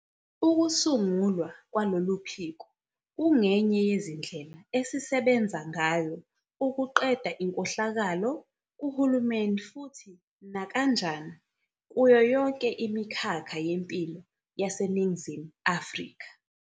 Ukusungulwa kwalolu phiko kungenye yezindlela esisebenza ngayo ukuqeda inkohlakalo kuhulumeni futhi nakanjani kuyo yonke imikhakha yempilo yaseNingizimu Afrika.